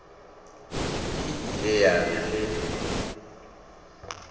e ile ya re ge